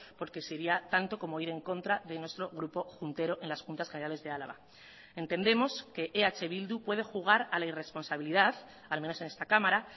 porque sería tanto como ir en contra de nuestro grupo juntero en las juntas generales de álava entendemos que eh bildu puede jugar a la irresponsabilidad al menos en esta cámara